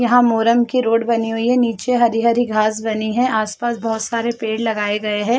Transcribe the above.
यहाँ मोरंग की रोड बनी हुई है नीचे हरी-हरी घास बनी है आस-पास बहोत सारे पेड़ लगाए गए है।